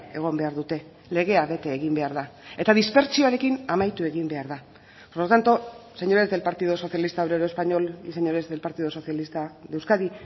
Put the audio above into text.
egon behar dute legea bete egin behar da eta dispertsioarekin amaitu egin behar da por lo tanto señores del partido socialista obrero español y señores del partido socialista de euskadi